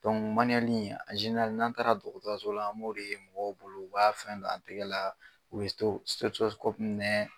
n'an taara dɔgɔtɔrɔso la an b'o de ye mɔgɔw bolo u b'a fɛn do a tɛgɛ laa, u nɛɛ